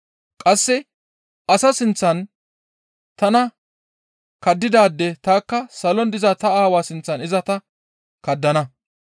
Qasse asa sinththan tana kaddidaade tanikka salon diza ta Aawaa sinththan iza ta kaddana.